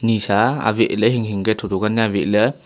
esha aweh le nganle thotho nya aweh la--